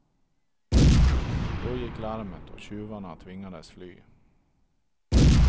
Då gick larmet och tjuvarna tvingades fly.